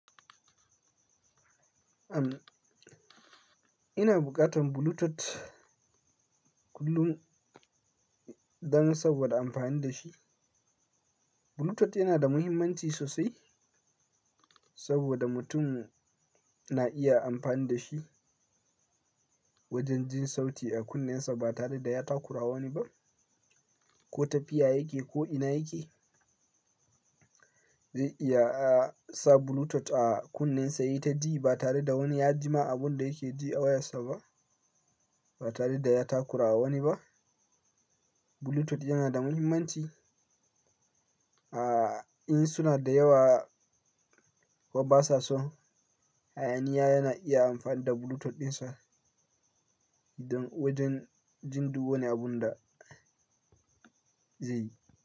Am, ina bukatan Bluetooth kullum don saboda amfani da shi. Bluetooth yana da mahimmanci sosai saboda mutum na iya amfani da shi wajen jin sauti a kunnensa ba tare da ya takura wani ba. Ko tafiya yake ko ina yake zai iya sa Bluetooth a kunne sa ya ji ba tare da wani ya ji ma abin da yake ji a wayarsa ba, ba tare da ya takura wani ba. Bluetooth yana da mahimmanci a in suna da yawa wa ba sa so. Hayaniya yana iya amfani da Bluetooth ɗinsa wajen jin duk wani abun da zai yi.